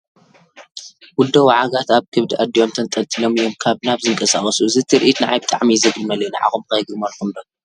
ውልዶ ወዓጋት ኣብ ከብዲ ኣዲኦም ተንጠልጢሎም እዮም ካብ ናብ ዝንቀሳቐሱ፡፡ እዚ ትርኢት ንዓይ ብጣዕሚ እዩ ዘግርመለይ፡፡ ንዓኹም ከ የግርመልኩም ዶ?